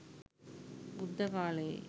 බුද්ධ කාලයේ